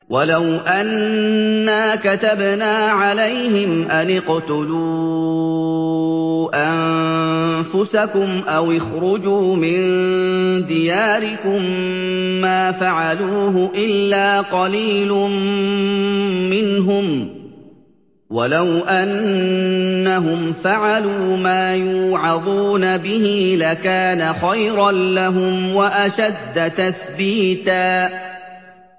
وَلَوْ أَنَّا كَتَبْنَا عَلَيْهِمْ أَنِ اقْتُلُوا أَنفُسَكُمْ أَوِ اخْرُجُوا مِن دِيَارِكُم مَّا فَعَلُوهُ إِلَّا قَلِيلٌ مِّنْهُمْ ۖ وَلَوْ أَنَّهُمْ فَعَلُوا مَا يُوعَظُونَ بِهِ لَكَانَ خَيْرًا لَّهُمْ وَأَشَدَّ تَثْبِيتًا